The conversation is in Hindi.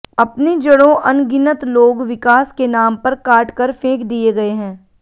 अपनी जड़ों अनगिनत लोग विकास के नाम पर काट कर फेंक दिए गए हैं